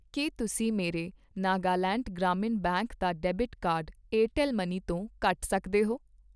ਕੀ ਤੁਸੀਂਂ ਮੇਰੇ ਨਾਗਾਲੈਂਡ ਗ੍ਰਾਮੀਣ ਬੈਂਕ ਦਾ ਡੈਬਿਟ ਕਾਰਡ ਏਅਰਟੈੱਲ ਮਨੀ ਤੋਂ ਕੱਟ ਸਕਦੇ ਹੋ ?